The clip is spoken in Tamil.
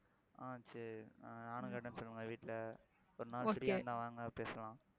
ஆஹ் சரி ஆஹ் நானும் கேட்டேன்னு சொல்லுங்க வீட்டுல ஒரு நாள் free ஆ இருந்தா வாங்க பேசலாம்